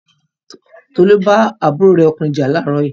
Tolú bá àbúrò rẹ̀ ọkùnrin jà láàárín yìí.